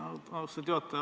Austatud juhataja!